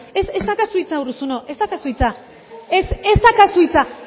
ez daukazu hitza urruzuno ez daukazu hitza ez ez daukazu hitza